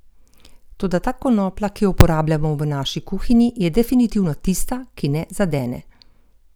Toda ta konoplja, ki jo uporabljamo v naši kuhinji, je definitivno tista, ki ne zadene!